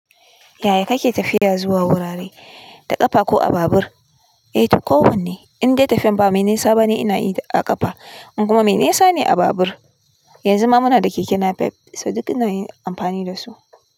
Ya ya kake tafiya zuwa wurare, da ƙafa ko a babur? Eh to kowanne, indai tafiyan ba mai nisa bane ina yi da ƙafa in kuma mai nisa ne a babur. Yanzu ma muna da keke nape so dik ina yin amfani da su.